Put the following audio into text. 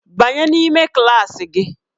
Banye n'ime klaasị gị!